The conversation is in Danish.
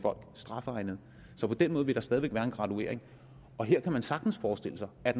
strafegnede så på den måde vil der stadig væk være en graduering her kan man sagtens forestille sig at